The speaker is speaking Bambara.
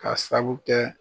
K'a saabu kɛ